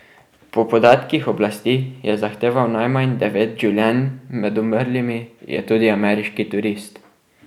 Po podatkih oblasti je zahteval najmanj devet življenj, med umrlimi je tudi ameriški turist.